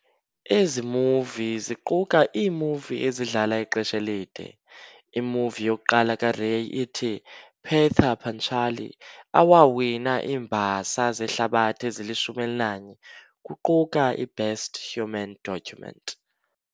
Ezi movie ziquka iimovie ezidlala ixesha elide. Imovie yokuqala kaRay, ithi"Pather Panchali", awawina iimbasa zehlabathi ezilishumi elinanye, kuquka i"Best Human Document".